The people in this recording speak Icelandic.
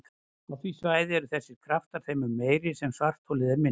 Á því svæði eru þessir kraftar þeim mun meiri sem svartholið er minna.